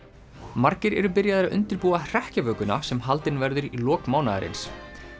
margir eru byrjaðir að undirbúa sem haldin verður í lok mánaðarins